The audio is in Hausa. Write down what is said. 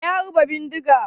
Wa ya harba bindiga?